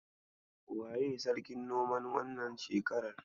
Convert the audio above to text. Waye Sarkin noman wannan shekarar?